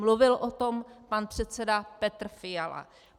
Mluvil o tom pan předseda Petr Fiala.